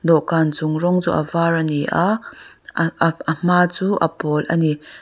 dawhkan chung rawng chu avar ani a a hma chu a pawl a ni.